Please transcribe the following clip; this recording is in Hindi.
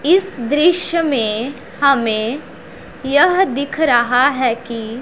इस दृश्य में हमें यह दिख रहा है कि--